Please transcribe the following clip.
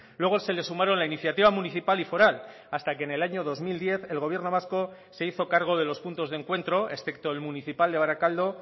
luego se le sumaron la iniciativa municipal y foral hasta que en el año dos mil diez el gobierno vasco se hizo cargo de los puntos de encuentro excepto el municipal de barakaldo